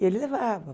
E ele levava.